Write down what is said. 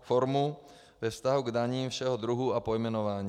formu ve vztahu k daním všeho druhu a pojmenování.